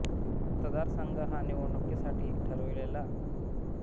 मतदारसंघ हा निवडणुकीसाठी ठरविला गेलेला मतदारांचा गट होय